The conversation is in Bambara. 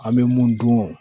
An bɛ mun dun